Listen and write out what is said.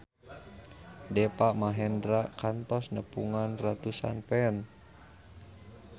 Deva Mahendra kantos nepungan ratusan fans